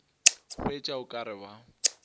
hwetša o ka re ba